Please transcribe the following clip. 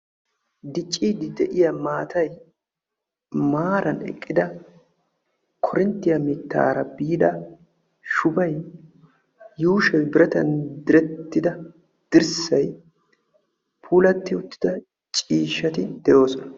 Diccidde de'iya maattay korinttiya shubbara biida shubay yushshoy direttidonne ubba qassikka ciishshattdi de'osonna.